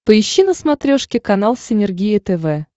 поищи на смотрешке канал синергия тв